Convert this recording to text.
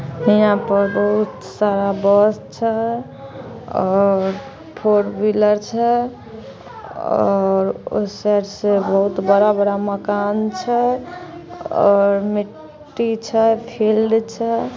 यहाँ पर बहुत सारा बस छे और फॉर व्हीलर छे और उस साइड से बहुत बड़ा-बड़ा मकान छे और मिट्टी छे फिल्ड छे।